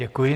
Děkuji.